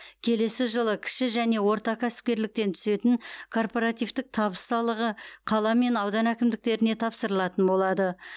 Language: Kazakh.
келесі жылы кіші және орта кәсіпкерліктен түсетін корпоративтік табыс салығы қала мен аудан әкімдіктеріне тапсырылатын болады